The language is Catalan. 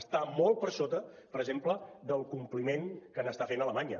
està molt per sota per exemple del compliment que n’està fent alemanya